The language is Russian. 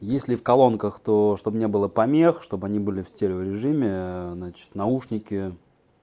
если в колонках то что бы мне было помех чтобы они были в стерео режиме аа значит наушники